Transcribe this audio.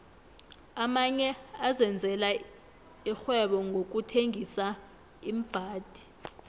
amanye azenzela ixhwebonqokuthengisa iimbhadi